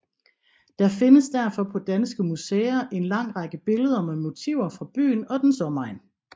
Der findes derfor på danske museer en lang række billeder med motiver fra byen og dens omegn